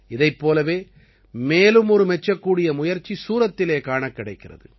இதைப் போலவே மேலும் ஒரு மெச்சக்கூடிய முயற்சி சூரத்திலே காணக் கிடைக்கிறது